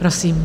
Prosím.